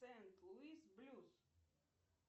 сент луис блюз